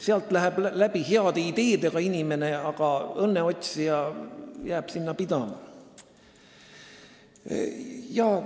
Sealt läheb läbi heade ideedega inimene, aga õnneotsija jääb sinna pidama.